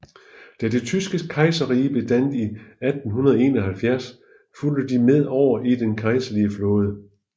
Da det tyske kejserrige blev dannet i 1871 fulgte de med over i den kejserlige flåde